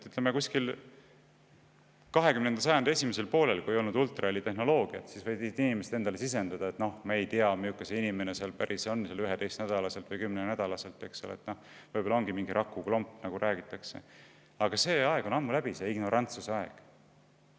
Kusagil 20. sajandi esimesel poolel, kui ultrahelitehnoloogiat veel ei olnud, võisid ju inimesed endale sisendada, et me ei tea, milline see inimene seal on 11. nädalal või 10. nädalal, võib-olla ongi mingi rakuklomp, nagu räägitakse, aga sellise ignorantsuse aeg on ammu läbi.